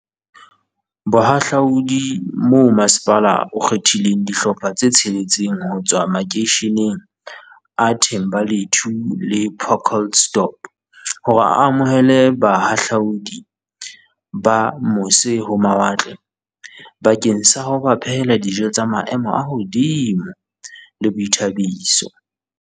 Bohahla udi mo masepala o kgethileng dihlopha tse tsheletseng ho tswa makeisheneng a The mbalethu le Pacaltsdorp hore a amohele bahahlaudi ba mo se-ho-mawatle bakeng sa ho ba phehela dijo tsa maemo a hodimo le boithabiso.